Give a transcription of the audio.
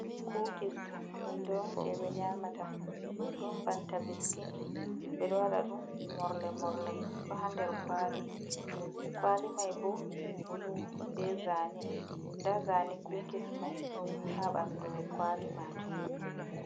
Kukis hunde on je ɓe nyamata ɗum banta biskin, ɓeɗo waɗa ɗum morle morle ɗo ha nder kwali, kwali mai bo bulu be zane, nda zane kukis mai ha ɓandu kwali majum.